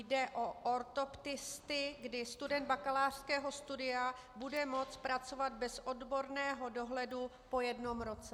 Jde o ortoptisty, kdy student bakalářského studia bude moci pracovat bez odborného dohledu po jednom roce.